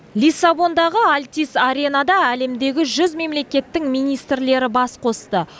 лиссабондағы альтис аренада әлемдегі жүз мемлекеттің министрлері бас қосты